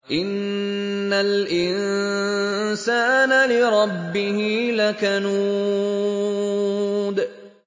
إِنَّ الْإِنسَانَ لِرَبِّهِ لَكَنُودٌ